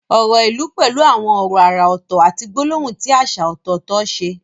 Ọ̀rọ̀ ìlú pẹ̀lú àwọn ọ̀rọ̀ àrà ọ̀tọ̀ àti gbólóhùn tí àṣà ọ̀tọ̀ọ̀tọ̀ ṣe.